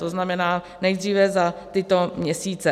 To znamená nejdříve za tyto měsíce.